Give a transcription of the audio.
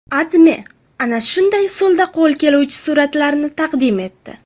AdMe ana shunday usulda qo‘l keluvchi suratlarni taqdim etdi .